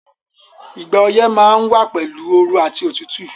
Ìgbà oyẹ́ ma n wa pẹ̀lu ooru àti otútù